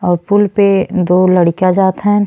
और पुल पे दो लड़ीका जात हन।